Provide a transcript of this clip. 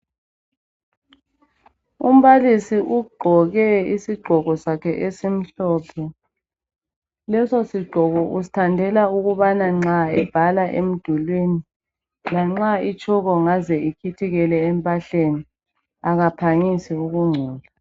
Umbalisi ugqoke ,isigqoko sakhe esimhlophe .Leso sigqoko usithandela ukubana nxa ebhala emdulwini, lanxa itshoko ingaze ikhithikele empahleni akaphangisi ukungcola.